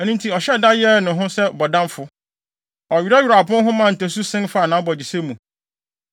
Ɛno nti, ɔhyɛɛ da yɛɛ ne ho sɛ bɔdamfo, ɔwerɛwerɛw apon ho maa ntasu sen faa nʼabogyesɛ mu.